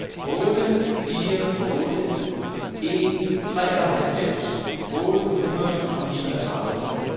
otte fire otte en treoghalvfems otte hundrede og niogtredive